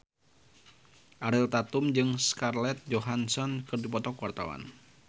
Ariel Tatum jeung Scarlett Johansson keur dipoto ku wartawan